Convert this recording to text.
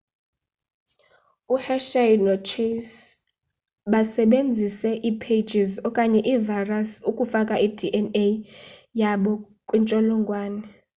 u-hershey no-chase basebenzise ii-phages okanye ii-virus ukufaka i-dna yabo kwintsholongwane